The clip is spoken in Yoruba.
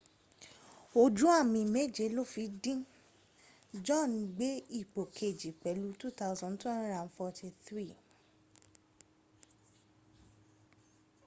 ojú àmì méje ló fi dín john gbé ipò kejì pẹ̀lú 2,243